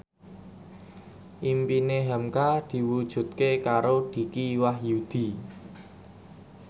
impine hamka diwujudke karo Dicky Wahyudi